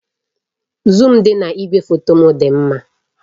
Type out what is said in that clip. Zuum dị na igwefoto m dị mma